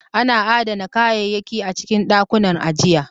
Ana adana kayayyaki a cikin ɗakunan ajiya